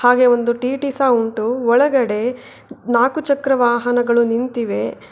ಹಾಗೆ ಒಂದು ಟಿ_ಟಿ ಸಹಾ ಉಂಟು ಒಳಗಡೆ ನಾಲ್ಕುಚಕ್ರದ ವಾಹನಗಳು ನಿಂತಿವೆ.